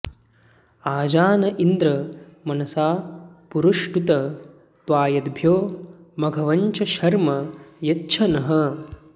आजा न इन्द्र मनसा पुरुष्टुत त्वायद्भ्यो मघवञ्छर्म यच्छ नः